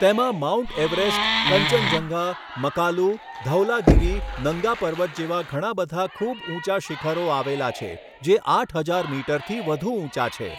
તેમાં Mount Everest, Kanchenjunga, Makalu, Dhaulagiri, Nanga Parbat જેવા ઘણાંબધાં ખૂબ ઊંચા શિખરો આવેલા છે જે આઠ હજાર મીટરથી વધુ ઊંચા છે.